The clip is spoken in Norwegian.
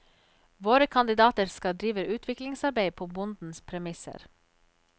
Våre kandidater skal drive utviklingsarbeid på bondens premisser.